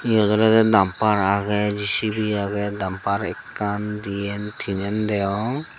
eyot olodey dampar agey jicibi agey dampar ekkan diyen tinen degong.